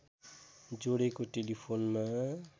जोडेको टेलिफोनमा